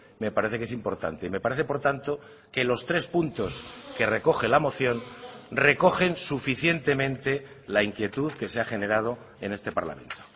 me parece que es importante y me parece por tanto que los tres puntos que recoge la moción recogen suficientemente la inquietud que se ha generado en este parlamento